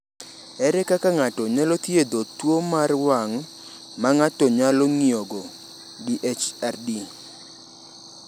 Ere kaka ng’ato nyalo thiedho tuwo mar wang’ ma ng’ato nyalo ng’iyogo (DHRD)?